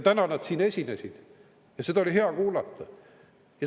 Täna nad siin esinesid ja seda oli hea kuulata.